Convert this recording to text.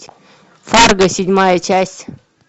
фарго седьмая часть